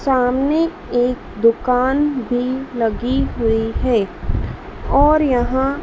सामने एक दुकान भी लगी हुई है और यहां--